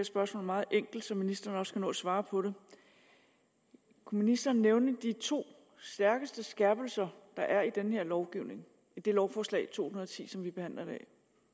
spørgsmål meget enkelt så ministeren også kan nå at svare på det kunne ministeren nævne de to stærkeste skærpelser der er i den her lovgivning lovforslag nummer to hundrede og ti som vi behandler i dag